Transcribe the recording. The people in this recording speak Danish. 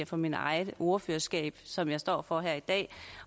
fra mit eget ordførerskab som jeg står for her i dag